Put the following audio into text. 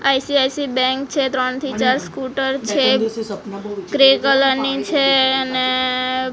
ICICI bank છે ત્રણ થી ચાર સ્કૂટર છે ગ્રે કલર ની છે અને--